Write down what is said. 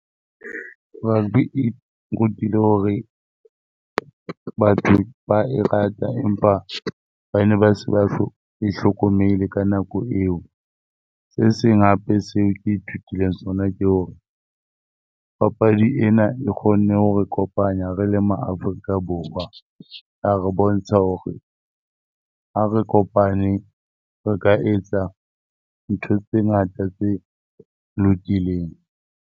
Rugby e nrutile hore batho ba e rata empa ba ne ba sa e hlokomele ka nako eo. Se seng hape seo ke ithutileng sona ke hore papadi ena e kgonne ho re kopanya re le MaAfrika Borwa. A re bontsha hore ha re kopane re ka etsa ntho tse ngata tse lokileng.